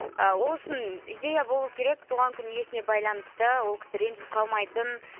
а ол үшін идея болу керек туған күн иесіне байланысты ол кісі ренжіп қалмайтын